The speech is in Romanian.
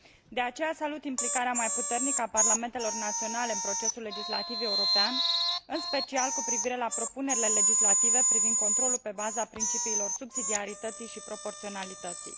De aceea salut implicarea mai puternică a parlamentelor naționale în procesul legislativ european, în special cu privire la propunerile legislative privind controlul pe baza principiilor subsidiarității și proporționalității.